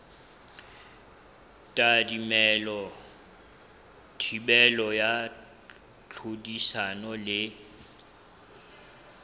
tadimilwe thibelo ya tlhodisano le